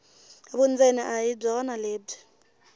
vundzeni a hi byona lebyi